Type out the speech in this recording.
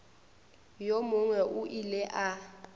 yo mongwe o ile a